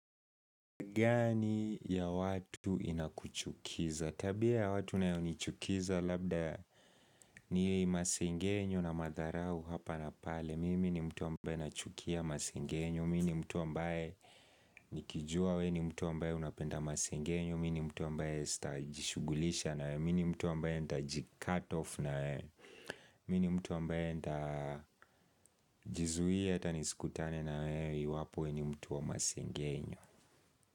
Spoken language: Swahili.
Gani ya watu inakuchukiza? Tabia ya watu inayo nichukiza labda ni masengenyo na madharau hapa na pale. Mimi ni mtu ambaye nachukia masengenyo. Mimi ni mtu ambaye nikijua wewe ni mtu ambaye unapenda masengenyo. Mimi ni mtu ambaye sitajishugulisha nawe. Mimi ni mtu ambaye ntajicutoff nawe. Mimi ni mtu ambaye nitajizuia hata nisikutane na wewe iwapo ni mtu wa masengenyo.